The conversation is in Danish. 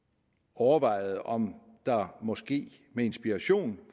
overvejer om der måske med inspiration